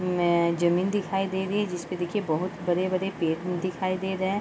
में जमीन दिखई दे रही है जिस पे देखिए बहुत बहुत बड़े - बड़े पेड़ दिखई दे रहे हैं।